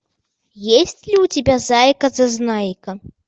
есть ли у тебя зайка зазнайка